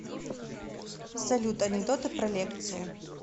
салют анекдоты про лекции